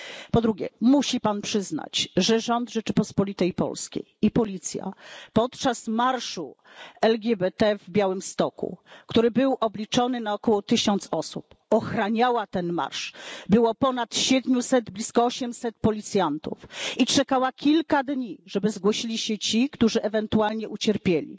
Po drugie, musi Pan przyznać, że rząd Rzeczypospolitej Polskiej i policja podczas marszu LGBT w Białymstoku, który był obliczony na około tysiąc osób, ochraniała ten marsz, było ponad siedmiuset, blisko osiemset policjantów, i czekała kilka dni, żeby zgłosili się ci, którzy ewentualnie ucierpieli.